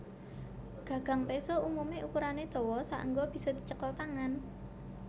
Gagang péso umumé ukurané dawa saéngga bisa dicekel tangan